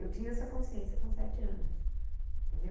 Eu tinha essa consciência com sete anos, entendeu?